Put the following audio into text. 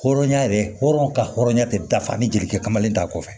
Hɔrɔnya yɛrɛ hɔrɔn ka hɔrɔnya tɛ dafa ni jelikɛ kamalen t'a kɔfɛ